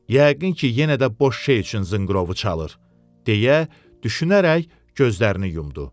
Yəqin ki, yenə də boş şey üçün zınqırovu çalır, deyə düşünərək gözlərini yumdu.